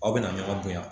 Aw bɛna ɲɔgɔn bonya